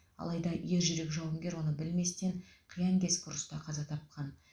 алайда ержүрек жауынгер оны білместен қиянкескі ұрыста қаза тапқан